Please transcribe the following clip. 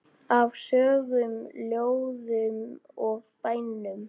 Af sögum, ljóðum og bænum.